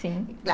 Sim.